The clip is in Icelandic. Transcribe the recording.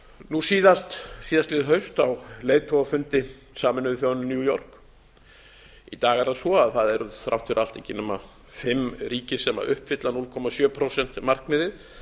nú síðast síðastliðið haust á leiðtogafundi sameinuðu þjóðanna í new york í dag er það svo að það eru þrátt fyrir allt ekki nema fimm ríki sem uppfylla núll komma sjö prósent markmiðið